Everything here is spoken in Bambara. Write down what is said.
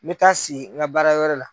Me taa si n ka baara yɔrɔ la.